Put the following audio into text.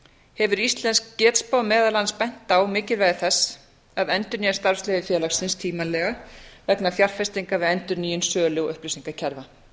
hefur íslensk getspá meðal annars bent á mikilvægi þess að endurnýja starfsleyfi félagsins tímanlega vegna fjárfestinga við endurnýjun sölu og upplýsingakerfa